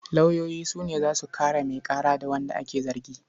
Lauyoyi su ne za su kare mai ƙara da wanda ake zargi.